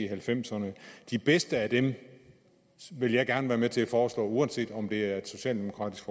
halvfemserne de bedste af dem vil jeg gerne være med til at foreslå uanset om det er et socialdemokratisk